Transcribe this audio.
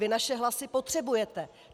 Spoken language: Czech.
Vy naše hlasy potřebujete.